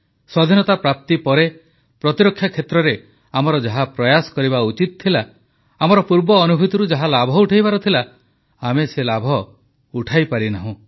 ସ୍ୱାଧୀନତା ପ୍ରାପ୍ତି ପରେ ପ୍ରତିରକ୍ଷା କ୍ଷେତ୍ରରେ ଆମର ଯାହା ପ୍ରୟାସ କରିବା ଉଚିତ ଥିଲା ଆମର ପୂର୍ବ ଅନୁଭୂତିରୁ ଯାହା ଲାଭ ଉଠାଇବାର ଥିଲା ଆମେ ସେ ଲାଭ ଉଠାଇପାରିନାହୁଁ